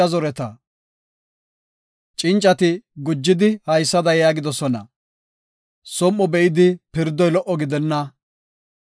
Cincati gujidi haysada yaagidosona; Som7o be7idi pirdoy lo77o gidenna.